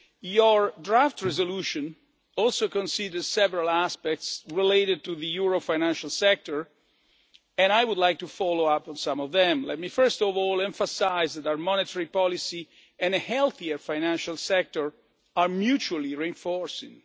Your draft resolution also considers several aspects related to the euro financial sector and I would like to follow up on some of them. Let me first of all emphasise that our monetary policy and a healthier financial sector are mutually reinforcing.